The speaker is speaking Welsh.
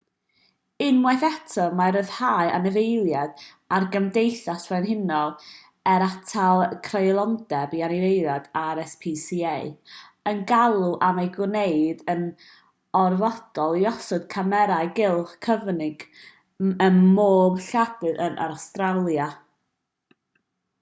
unwaith eto mae rhyddhau anifeiliaid a'r gymdeithas frenhinol er atal creulondeb i anifeiliaid rspca yn galw am ei gwneud yn orfodol i osod camerâu cylch cyfyng ym mhob lladd-dy yn awstralia